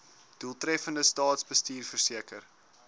doeltreffende staatsbestuur verseker